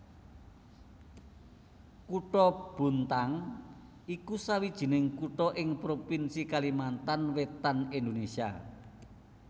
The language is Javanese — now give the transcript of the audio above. Kutha Bontang iku sawijining kutha ing provinsi Kalimantan Wétan Indonésia